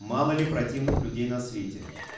мало ли противных людей на свете